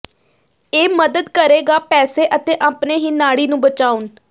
ਇਹ ਮਦਦ ਕਰੇਗਾ ਪੈਸੇ ਅਤੇ ਆਪਣੇ ਹੀ ਨਾੜੀ ਨੂੰ ਬਚਾਉਣ